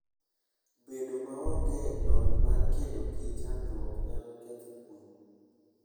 Bedo maonge lony mar kedo gi chandruoge nyalo ketho kuwe.